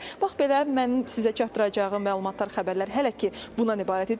Bax belə, mənim sizə çatdıracağım məlumatlar, xəbərlər hələ ki bundan ibarət idi.